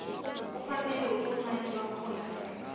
kufanele ubuncani bakhona